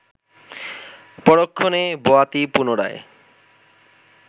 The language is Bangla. পরক্ষণে বয়াতি পুনরায়